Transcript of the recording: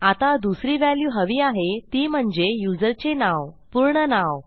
आता दुसरी व्हॅल्यू हवी आहे ती म्हणजे युजरचे नाव पूर्ण नाव